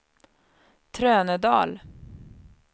Trönödal